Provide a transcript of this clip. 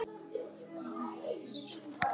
Hér er enginn vafi.